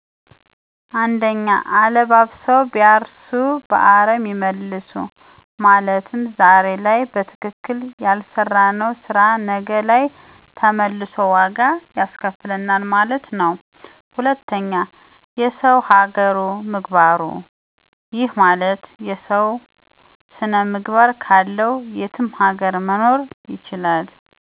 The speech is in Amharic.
1. አለባብሰው ቢያርሱ በአረም ይመልሱ !! ማለትም ዛሬ ላይ በትከክል ያለሰራነው ስራ ነገ ለይ ተመልሶ ዋጋ ያስከፍለናል ማለት ነው። 2. የሰው ሀገሩ ምግባሩ !! ይህ ማለት ሰው ስነ ምግባር ካለው የትም ሀገር መኖር ይችላል